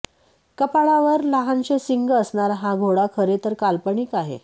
कपाळावर लहानसे शिंग असणारा हा घोडा खरे तर काल्पनिक आहे